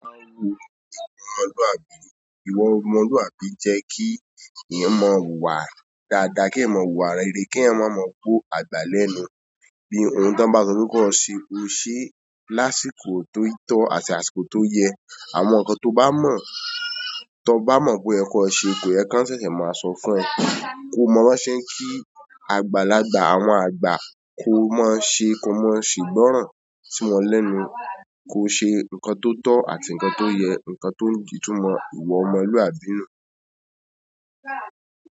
Ìwà ọmọlúàbí, ìwà ọmọlúàbí jẹ́ kí èyàn maa wuwà dáadáa, kí èyàn maa wuwà rere, kí èyàn máa mọ gbó àgbà lẹ́nu. Ohun toba so pe ko se, ko se láti àsìkò àti àsìkò to yee. Àwọn nkan tó bá mọ, tó bá mọ pe oye ko ṣẹ, kò yẹ kí wọ́n ṣẹ̀ṣẹ̀ máa sọ fún ẹ. Kó mọ bo ṣẹ n kí àgbalágbà, àwọn àgbà kó máa ṣe, kó máa ṣìgbọ́ràn tí wọ́n lẹ́nu, kó ṣe nkan tó tọ́ àti nkan tó yẹ, nkan tó ń itúmọ̀ ìwà ọmọlúwàbí nù.